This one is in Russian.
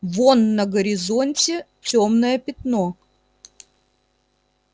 вон на горизонте тёмное пятно